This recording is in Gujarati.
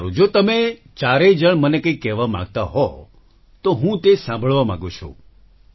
સારું જો તમે ચારેય જણ મને કંઈક કહેવા માંગતા હોય તો હું તે સાંભળવા માંગુ છું